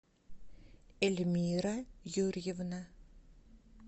эльмира юрьевна